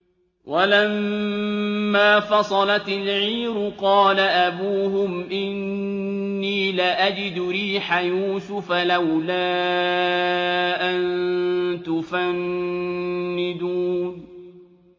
وَلَمَّا فَصَلَتِ الْعِيرُ قَالَ أَبُوهُمْ إِنِّي لَأَجِدُ رِيحَ يُوسُفَ ۖ لَوْلَا أَن تُفَنِّدُونِ